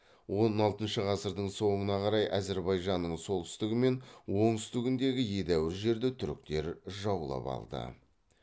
он алтыншы ғасырдың соңына қарай әзірбайжанның солтүстігі мен оңтүстігіндегі едәуір жерді түріктер жаулап алды